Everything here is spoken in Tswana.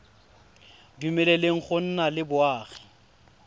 dumeleleng go nna le boagi